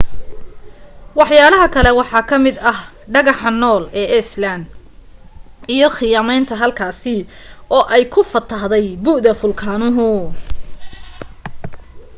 waxyaalaha kale waxaa kamid ah dhagaxanool ee island iyo khiyamaynta halkaasi oo ay ku fatahday buda fulkaanuhu